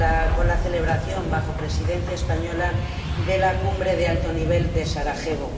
con la celebración, bajo Presidencia española, de la cumbre de alto nivel de Sarajevo.